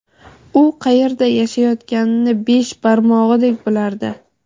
u qayerda yashayotganini besh barmog‘idek bilardi.